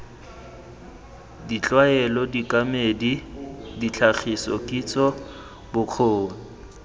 ditlwaelo dikemedi ditlhagiso kitso bokgoni